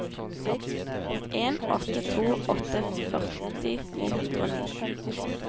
en åtte to åtte førti ni hundre og ni